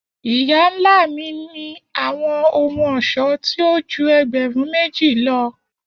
Iya-nla mi ni awọn ohun-ọṣọ ti o ju ẹgbẹrun meji lọ.